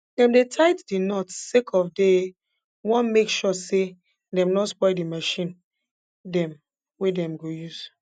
dem dey tight d nots sake of dey wan make sure say dem no spoil de marchin dem wey dem go use